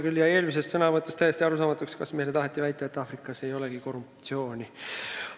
Mulle jäi eelmises sõnavõtus täiesti arusaamatuks, kas meile taheti väita, et Aafrikas ei olegi korruptsiooni.